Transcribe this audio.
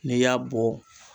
N'i y'a bɔ